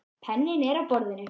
Penninn er á borðinu.